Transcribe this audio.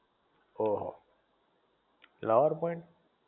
ઓહો lover point